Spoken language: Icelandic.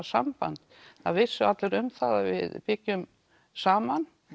samband það vissu allir um það að við byggjum saman